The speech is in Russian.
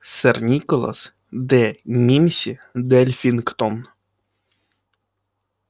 сэр николас де мимси-дельфингтон